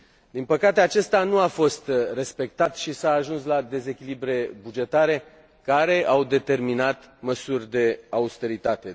Din păcate, acest pact nu a fost respectat și s a ajuns la dezechilibre bugetare care au determinat măsuri de austeritate.